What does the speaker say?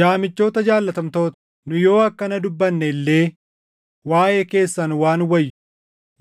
Yaa michoota jaallatamtoota, nu yoo akkana dubbanne illee waaʼee keessan waan wayyu,